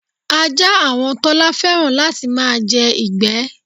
Ajá àwon Tọ́lá fé̩ràn láti máa je̩ ìgbé̩.